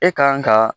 E kan ka